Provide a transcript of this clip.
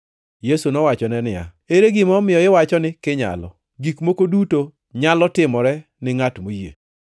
Yesu nowachone niya, “Ere gima omiyo iwacho ni, ‘Kinyalo?’ Gik moko duto nyalo timore ni ngʼat moyie.”